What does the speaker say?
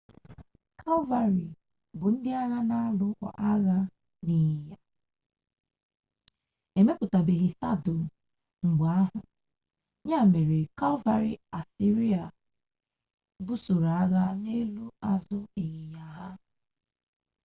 kalvarị bu ndi agha na-alụ agha ịnyịnya emepụtabeghị sadụl mgbe ahụ ya mere kalvarị asịrịa busoro agha n'elu azụ ịnyịnya ha